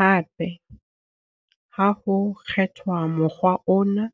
Hape, ha ho kgethwa mokgwa ona,